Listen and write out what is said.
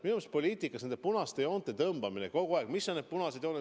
Minu meelest poliitikas nende punaste joonte tõmbamine kogu aeg, et mis on need punased jooned ...